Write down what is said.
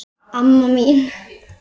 Amma mín